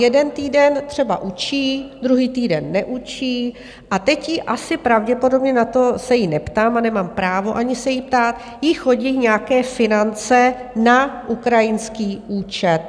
Jeden týden třeba učí, druhý týden neučí, a teď jí asi pravděpodobně, na to se jí neptám, a nemám právo ani se jí ptát, jí chodí nějaké finance na ukrajinský účet.